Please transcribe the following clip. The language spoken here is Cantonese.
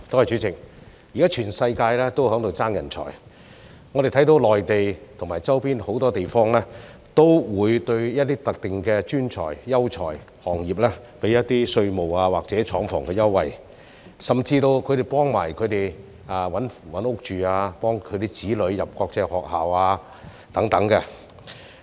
主席，現時全世界也在爭奪人才，我們看到內地和周邊很多地方都會對一些特定的專才、優才和行業提供稅務或廠房優惠，甚至會幫他們尋找住屋，又會幫助他們的子女入讀國際學校等。